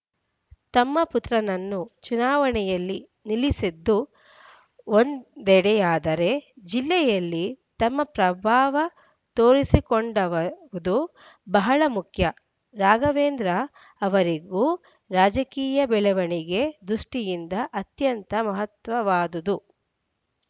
ತಮ್ಮ ಪುತ್ರನನ್ನು ಚುನಾವಣೆಯಲ್ಲಿ ನಿಲ್ಲಿಸಿದ್ದು ಒಂದೆಡೆಯಾದರೆ ಜಿಲ್ಲೆಯಲ್ಲಿ ತಮ್ಮ ಪ್ರಭಾವ ತೋರಿಸಿಕೊಡುವುದು ಬಹಳ ಮುಖ್ಯ ರಾಘವೇಂದ್ರ ಅವರಿಗೂ ರಾಜಕೀಯ ಬೆಳವಣಿಗೆ ದೃಷ್ಟಿಯಿಂದ ಅತ್ಯಂತ ಮಹತ್ವವಾದುದು